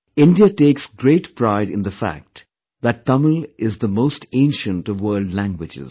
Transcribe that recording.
India takes great pride in the fact that Tamil is the most ancient of world languages